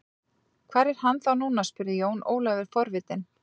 Hvar er hann þá núna spurði Jón Ólafur forvitinn.